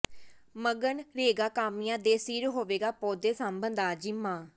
ਮਗਨਰੇਗਾ ਕਾਮਿਆਂ ਦੇ ਸਿਰ ਹੋਵੇਗਾ ਪੌਦੇ ਸਾਂਭਣ ਦਾ ਜ਼ਿੰਮਾ